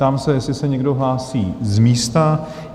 Ptám se, jestli se někdo hlásí z místa?